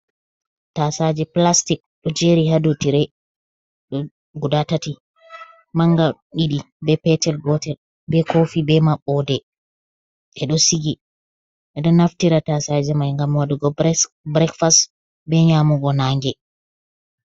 Tasaje pilastik ɗo jeri ha dou tirei guda tati mangal didi be petel gotel be kofi be maɓɓode ɓe ɗo sigi ɓe do naftira tasaje mai ngam waɗugo birekfast be nyamugo nange.